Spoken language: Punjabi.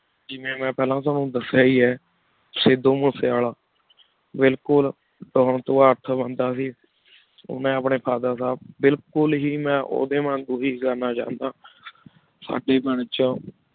ਜੇਵੀ ਮੈਂ ਪਹਲਾ ਤ੍ਵਾਨੁ ਦਾਸਿਯ ਹੇ ਹੈ ਸਿਧੂ ਮੋਸੇ ਵਾਲਾ ਬਿਲਕੁਲ ਓਹ ਮੈ ਅਪਨੀ Father ਸਾਹਿਬ ਬਿਲਕੁਲ ਹੇ ਮੈਂ ਓਦੇ ਵਾਂਗੋ ਹੇ ਗਾਨਾ ਚਾਹੰਦਾ ਸਾਡੀ ਪਿੰਡ ਵਿਚ ਓਹ